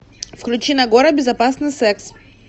включи нагора безопасный секс